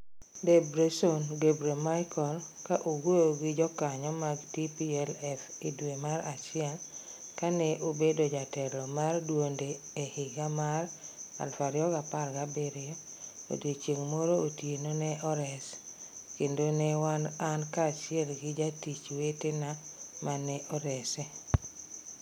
Debretsion Gebremichael, ka owuoyo gi jokanyo mag TPLF e dwe mar achiel, kane obedo jatelo mar duonde e higa mar 2017 "Odiechieng' moro otieno, ne ores... kendo ne wan an kaachiel gi jatich wetena mane orese.